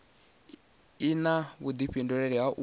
i na vhudifhinduleli ha u